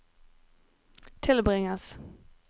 tilbringes